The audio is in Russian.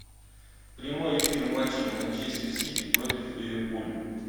прямой эфир матча манчестер сити против ливерпуль